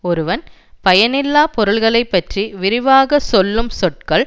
ஒருவன் பயனில்லா பொருள்களைப் பற்றி விரிவாகச் சொல்லும் சொற்கள்